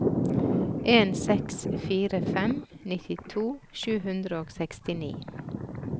en seks fire fem nittito sju hundre og sekstini